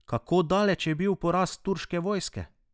Kako boleč je bil poraz turške vojske?